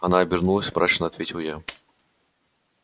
она обернулась мрачно ответил я